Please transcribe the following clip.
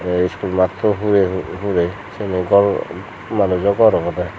te school matto hure hure siani gor manuj obo orogode.